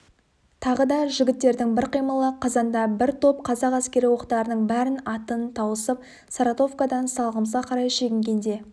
тағы да жігіттердің бір қимылы қазанда бір топ қазақ әскері оқтарының бәрін атып тауысып саратовкадан салығымызға қарай шегінгенде